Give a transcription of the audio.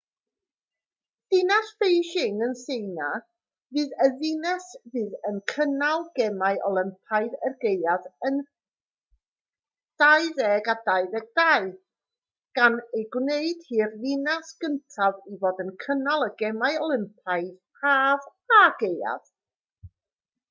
dinas beijing yn tsieina fydd y ddinas fydd yn cynnal gemau olympaidd y gaeaf yn 2022 gan ei gwneud hi'r ddinas gyntaf i fod wedi cynnal y gemau olympaidd haf a gaeaf